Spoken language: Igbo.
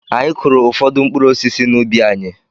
Anyị kụụrụ ụfọdụ mkpụrụ osisi n'ubi anyị.